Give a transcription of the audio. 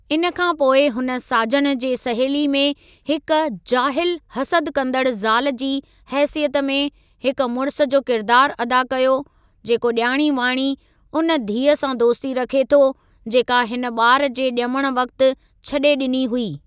इन खां पोइ हुन साजन जे सहेली में हिक जाहिलु हसद कंदड़ु ज़ाल जी हेसियत में हिक मुड़िस जो किरिदारु अदा कयो जेको ॼाणी वाणी उन धीअ सां दोस्ती रखे थो जेका हिन ॿार जे ॼमण वक़्तु छॾे ॾिनी हुई।